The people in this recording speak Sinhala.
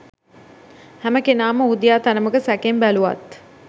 හැමකෙනාම ඔහු දිහා තරමක සැකෙන් බැලුවත්